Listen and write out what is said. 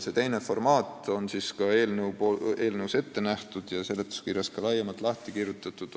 See teine formaat on ka eelnõus ette nähtud ja seletuskirjas lahti kirjutatud.